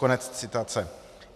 Konec citace.